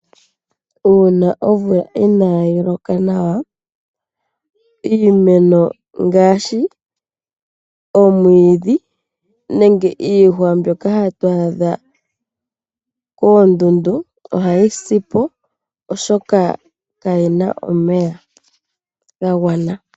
Uuna omvula inayi loka nawa, iimeno ngaashi omwiidhi, nenge iihwa mbyoka hatu adha koondundu ohayi sipo oshoka kayi na omeya ga gwana.